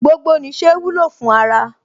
Gbogbo nìṣe wúlò fún ara